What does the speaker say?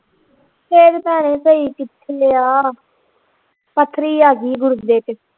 ਸਿਹਤ ਭੈਣੇ ਸਹੀ ਕਿਥੇ ਆ ਪੱਥਰੀ ਆ ਗਈ ਗੁਰਦੇ ਵਿਚ